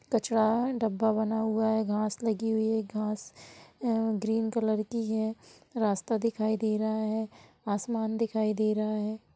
कचरा डब्बा बना हुआ है। घास लगी हुई है। घास अ ग्रीन कलर की है। रास्ता दिखाई दे रहा है। आसमान दिखाई दे रहा है।